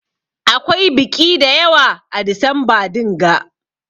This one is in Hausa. Akwai biƙi dayawa a disamba dinga.